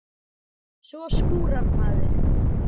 Svo skúrar maður.